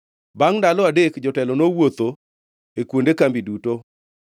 Bangʼ ndalo adek jotelo nowuotho e kuonde kambi duto,